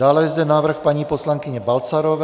Dále je zde návrh paní poslankyně Balcarové.